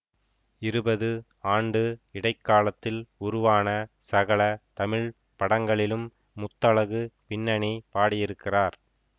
இருபது ஆண்டு இடை காலத்தில் உருவான சகல தமிழ் படங்களிலும் முத்தழகு பின்னணி பாடியிருக்கிறார்